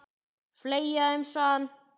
Fleygja þeim, sagði hann.